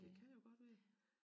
Det kan jo godt være